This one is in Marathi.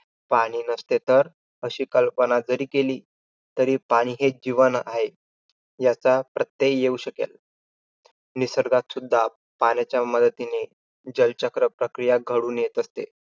पाणी नसते तर? अशी कल्पना जरी केली तरी, पाणी हेच जीवन आहे. याचा प्रत्यय येऊ शकेल. निसर्गात सुद्धा पाण्याच्या मदतीने जलचक्र प्रक्रिया घडून येत असते.